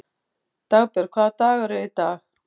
Dagbjörg, hvaða dagur er í dag?